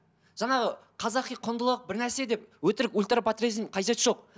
жаңағы қазақи құндылық бірнәрсе деп өтірік ультра подтверждение қажеті жоқ